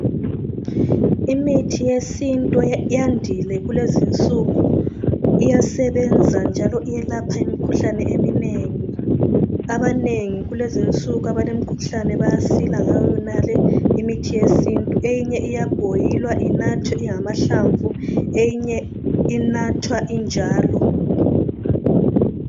Imithi yesintu yandile kulezinsuku iyasebenza njalo iyelapha imkhuhlane eminengi. Abanengi kulezinsuku abalemikhuhlane bayasila ngayo yonale imithi yesintu. Eyinye iyabhoyilwa inathwe ingamahlamvu, eyinye inathwa injalo.